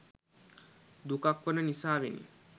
දුකක් වන නිසාවෙනි.